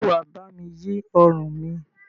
Ṣé wà bá mi yí ọrùn mi?